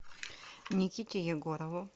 никите егорову